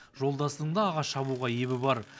жолдасының да ағаш шабуға ебі бар